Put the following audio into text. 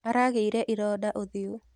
Aragĩire ironda ũthiũ.